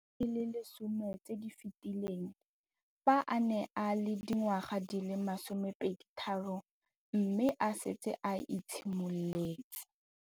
Dingwaga di le 10 tse di fetileng, fa a ne a le dingwaga di le 23 mme a setse a itshimoletse